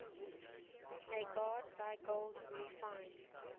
may god thy gold refine